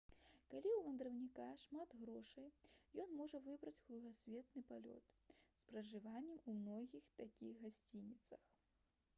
калі ў вандроўніка шмат грошай ён можа выбраць кругасветны палёт з пражываннем у многіх такіх гасцініцах